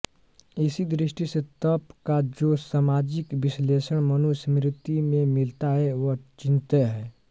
इसी दृष्टि से तप का जो सामाजिक विश्लेषण मनुस्मृति में मिलता है वह चिंत्य है